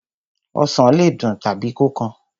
Osàn le dùn tàbí kó kan.